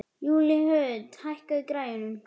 Júlíhuld, hækkaðu í græjunum.